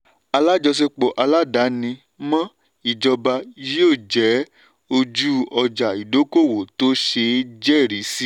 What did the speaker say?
alájọṣepọ̀ aládàáni-mọ́-ìjọba yóò jẹ́ ojú ọjà ìdókòwò tó ṣeé jẹ́rìí sí.